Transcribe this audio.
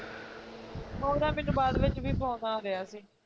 ਉਹਦਾ ਮੈਨੂੰ ਬਾਦ ਵਿੱਚ ਵੀ phone ਆ ਰਿਹਾ ਸੀ